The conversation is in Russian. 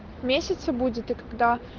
в месяце будет и когда